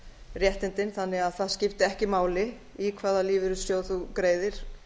réttindin þannig að það skipti ekki máli í hvaða lífeyrissjóð þú greiðir